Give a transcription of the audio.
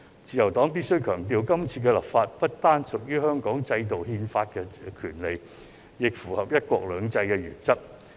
自由黨必須強調，今次立法不單是屬於香港制度憲法的權利，亦符合"一國兩制"的原則。